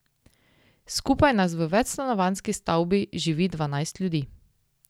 Skupaj nas v večstanovanjski stavbi živi dvanajst ljudi.